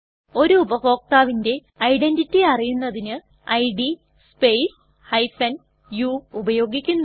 ഒരു ഉപഭോക്താവിന്റെ ഐഡന്റിറ്റി അറിയുന്നതിന് ഇഡ് സ്പേസ് u ഉപയോഗിക്കുന്നു